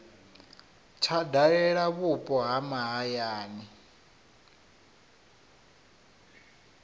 tsha dalela vhupo ha mahayani